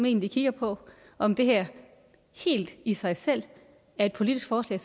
egentlig kigger på om det her helt i sig selv er et politisk forslag